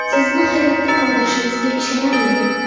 Sizni hayratda qoldirishimizga ishonavering.